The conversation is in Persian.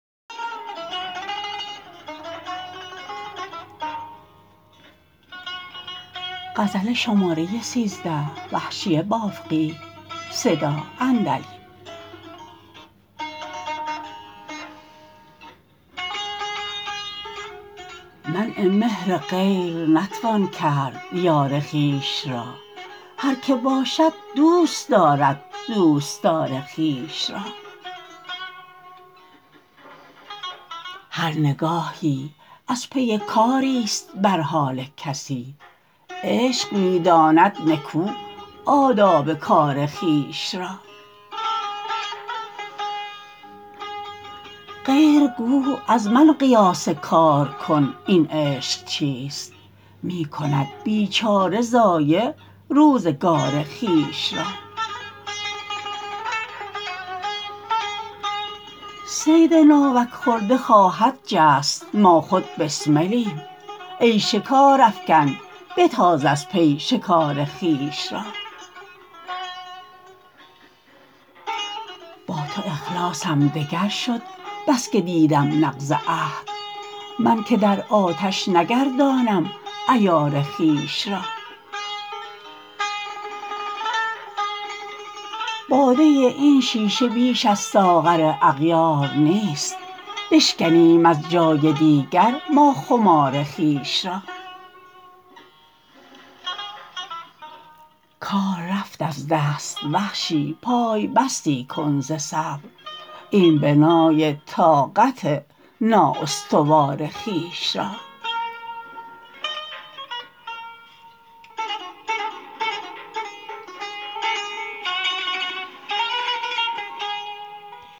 منع مهر غیر نتوان کرد یار خویش را هر که باشد دوست دارد دوستار خویش را هر نگاهی از پی کاریست بر حال کسی عشق می داند نکو آداب کار خویش را غیر گو از من قیاس کار کن این عشق چیست می کند بیچاره ضایع روزگار خویش را صید ناوک خورده خواهد جست ما خود بسملیم ای شکار افکن بتاز از پی شکار خویش را با تو اخلاصم دگر شد بسکه دیدم نقض عهد من که در آتش نگردانم عیار خویش را باده این شیشه بیش از ساغر اغیار نیست بشکنیم از جای دیگر ما خمار خویش را کار رفت از دست وحشی پای بستی کن ز صبر این بنای طاقت نااستوار خویش را